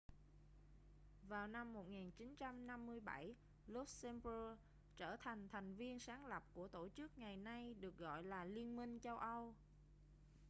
vào năm 1957 luxembourg trở thành thành viên sáng lập của tổ chức ngày nay được gọi là liên minh châu âu